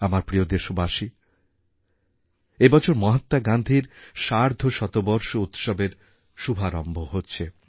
আমার প্রিয় দেশবাসী এবছর মহাত্মা গান্ধীর সার্ধশতবর্ষ উৎসবের শুভারম্ভ হচ্ছে